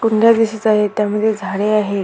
कुंड्या दिसत आहेत त्यामध्ये झाडे आहेत.